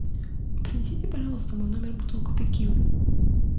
принесите пожалуйста в мой номер бутылку текилы